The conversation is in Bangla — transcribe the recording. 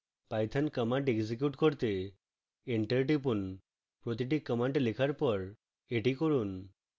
python command execute করতে enter টিপুন প্রতিটি command লেখার পর এটি করুন